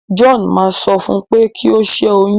John ma sọ fún u pé kí o ṣẹyun.